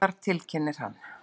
Garðar, tilkynnir hann.